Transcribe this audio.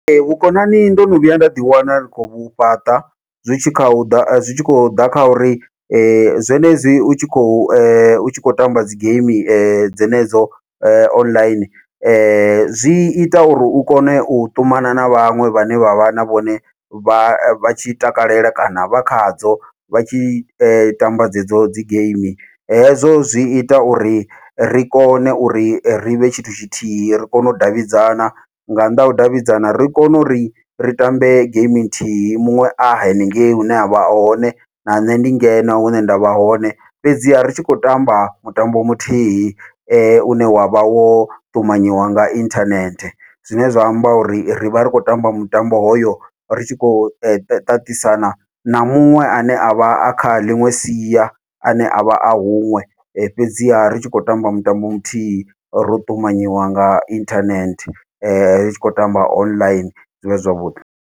Ee, vhukonani ndo no vhuya nda ḓiwana ndi khou fhaṱa, zwi tshi kha uḓa zwi tshi khou ḓa kha uri zwenezwi u tshi khou u tshi khou tamba dzi geimi dzenedzo online, zwi ita uri u kone u ṱumana na vhaṅwe vhane vha vha na vhone vha vha tshi takalela kana vha khadzo, vha tshi tamba dzedzo dzi geimi hezwo zwi ita uri ri kone uri rivhe tshithu tshithihi ri kone u davhidzana nga nnḓa hau davhidzana ri kone uri ri tambe geimi nthihi muṅwe a henengeyi hune avha hone, na nṋe ndi ngeno hune nda vha hone. Fhedziha ri tshi khou tamba mutambo muthihi une wavha wo ṱumanyiwa nga inthanethe, zwine zwa amba uri rivha ri khou tamba mutambo hoyo ri tshi khou ṱaṱisana na muṅwe ane avha a kha ḽiṅwe sia ane avha a huṅwe, fhedziha ri tshi khou tamba mutambo muthihi ro ṱumanyiwa nga inthanethe ri tshi khou tamba online zwivha zwi zwavhuḓi.